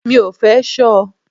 Mi ò fẹ́ ṣọ.